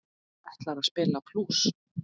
Ætlarðu að spila blús?